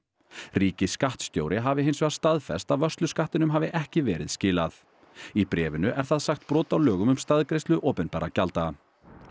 ríkisskattstjóri hafi hins vegar staðfest að vörsluskattinum hafi ekki verið skilað í bréfinu er það sagt brot á lögum um staðgreiðslu opinberra gjalda